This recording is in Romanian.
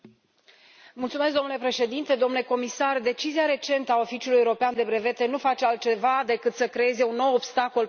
Domnule președinte, domnule comisar, decizia recentă a Oficiului European de Brevete nu face altceva decât să creeze un nou obstacol pentru cei mici.